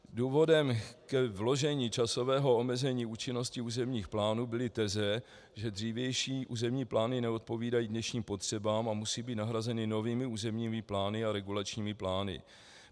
Důvodem k vložení časového omezení účinnosti územních plánů byly teze, že dřívější územní plány neodpovídají dnešním potřebám a musí být nahrazeny novými územními plány a regulačními plány.